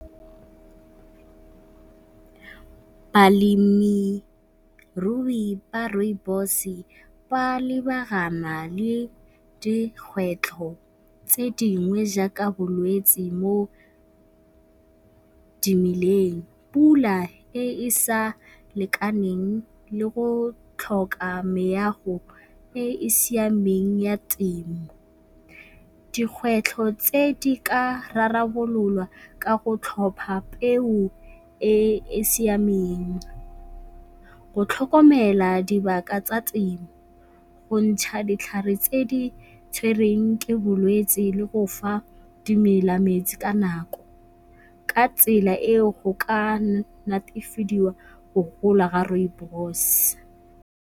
Balemirui ba Rooibos ba lebagana le dikgwetlho tse dingwe jaaka bolwetse mo dimeleng, pula e e sa lekaneng le go tlhoka meago e e siameng ya temo. Dikgwetlho tse di ka rarabololwa ka go tlhopha peo e e siameng, go tlhokomela dibaka tsa temo, go ntšha ditlhare tse di tshwereng ke bolwetse le go fa dimela metsi ka nako. Ka tsela eo go ka netefadiwa go gola ga Rooibos.